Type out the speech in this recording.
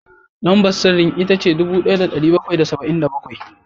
Lambar sirrin ita ce dubu ɗaya da ɗari bakwai da saba’in da bakwai